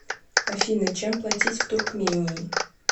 афина чем платить в туркмении